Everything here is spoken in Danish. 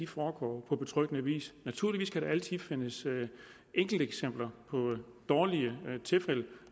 foregår på betryggende vis naturligvis kan der altid findes enkelteksempler på dårlige tilfælde